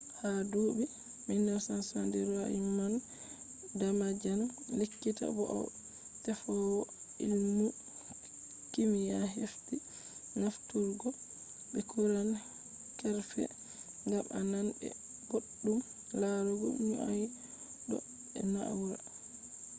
ha duɓi 1970 roymond damadian lekkita bo'o teffowo ilmu kimiya hefti nafturuggo be kuran kerfe ngam a nan be boɗɗum larugo nyauɗo be na’ura